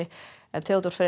Theodór Freyr